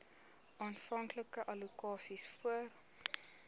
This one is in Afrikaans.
aanvanklike allokasies voor